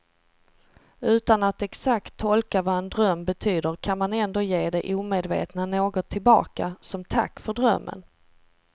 Utan att exakt tolka vad en dröm betyder kan man ändå ge det omedvetna något tillbaka, som tack för drömmen.